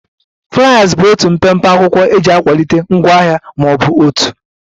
Fliers bụ otu mpempe akwụkwọ eji akwalite ngwaahịa ma ọ bụ òtù